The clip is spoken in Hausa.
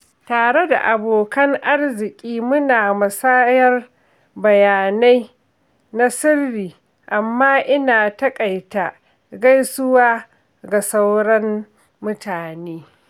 Tare da abokan arziki, muna musayar bayanai na sirri, amma ina takaita gaisuwa ga sauran mutane.